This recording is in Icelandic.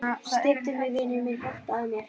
Styddu mig, vinur minn, hjálpaðu mér.